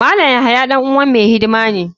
Malam yahaya dan uwa mai hidima ne.